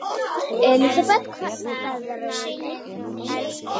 Elísabet, hvernig er veðrið úti?